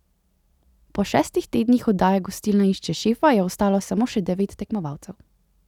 Po šestih tednih oddaje Gostilna išče šefa je ostalo samo še devet tekmovalcev.